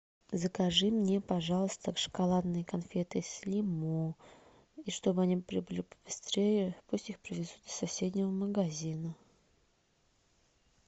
закажи мне пожалуйста шоколадные конфеты слимо и что бы они прибыли побыстрее пусть их привезут из соседнего магазина